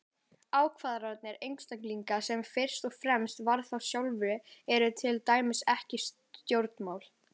Ákvarðanir einstaklinga sem fyrst og fremst varða þá sjálfa eru til dæmis ekki stjórnmál.